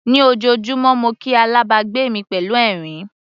Ní ojoojúmọ́ mo kí alábàgbé mi pẹ̀lú ẹ̀rín.